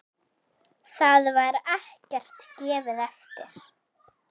Þar var ekkert gefið eftir.